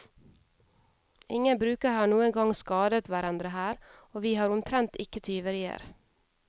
Ingen brukere har noen gang skadet hverandre her, og vi har omtrent ikke tyverier.